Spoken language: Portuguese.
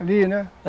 Ali, né?